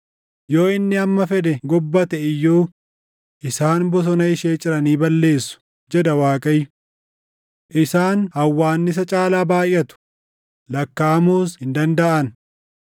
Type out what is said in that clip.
Yoo inni hamma fedhe gobbate iyyuu, isaan bosona ishee ciranii balleessu” jedha Waaqayyo. “Isaan hawwaannisa caalaa baayʼatu; lakkaaʼamuus hin dandaʼan.